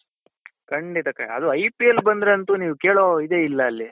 ಖಂಡಿತ ಖಂಡಿತ ಅದು IPL ಬಂದ್ರೆ ಅಂತು ನೀವು ಅದು ಕೇಳೋ ಇದೆ ಇಲ್ಲ ಅಲ್ಲಿ .